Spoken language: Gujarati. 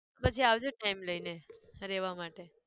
પછી આવજે time લઈને રહેવા માટે.